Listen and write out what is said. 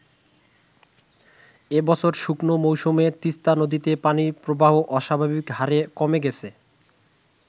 এবছর শুকনো মৌসুমে তিস্তা নদীতে পানি প্রবাহ অস্বাভাবিকহারে কমে গেছে।